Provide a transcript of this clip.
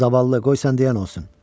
Zaval, qoy sən deyən olsun.